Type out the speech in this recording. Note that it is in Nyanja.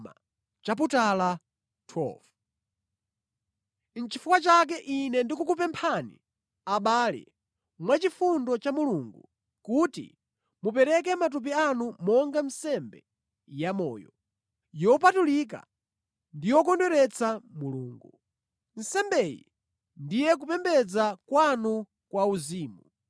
Nʼchifukwa chake ine ndikukupemphani abale, mwa chifundo cha Mulungu, kuti mupereke matupi anu monga nsembe yamoyo, yopatulika ndi yokondweretsa Mulungu. Nsembeyi ndiye kupembedza kwanu kwa uzimu.